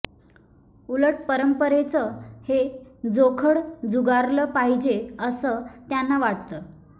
उलट परंपरेचं हे जोखड झुगारलं पाहिजे असं त्यांना वाटतं